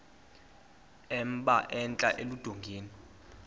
emba entla eludongeni